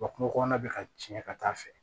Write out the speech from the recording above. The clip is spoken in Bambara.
Wa kungokɔnɔna bi ka tiɲɛ ka taa fɛ